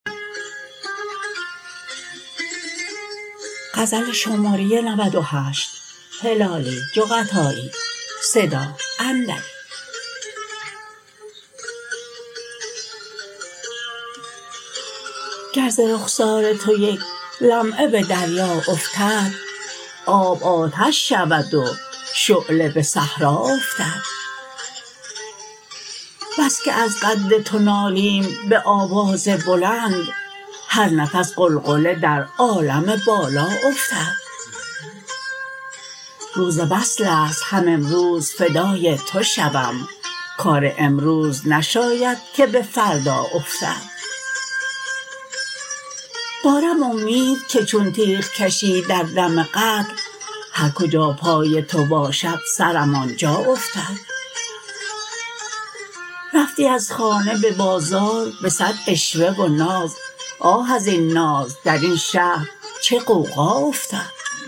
گر ز رخسار تو یک لمعه بدریا افتد آب آتش شود و شعله بصحرا افتد بسکه از قد تو نالیم بآواز بلند هر نفس غلغله در عالم بالا افتد روز وصلست هم امروز فدای تو شوم کار امروز نشاید که بفردا افتد دارم امید که چون تیغ کشی در دم قتل هر کجا پای تو باشد سرم آنجا افتد رفتی از خانه ببازار بصد عشوه و ناز آه ازین ناز درین شهر چه غوغا افتد آنکه انداخت درین آتش سوزان ما را دل ما بود که آتش بدل ما افتد دل مدهوش هلالی که ز پا افتادست کاش در جلوه گه آن بت رعنا افتد